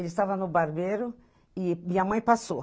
Ele estava no barbeiro e minha mãe passou.